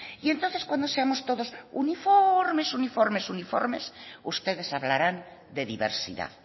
y entonces cuando seamos todos uniformes uniformes uniformes ustedes hablarán de diversidad